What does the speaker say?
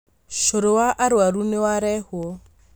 Cũrũ wa arwaru nĩwarehwo